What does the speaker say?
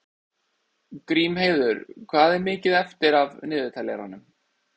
Grímheiður, hvað er mikið eftir af niðurteljaranum?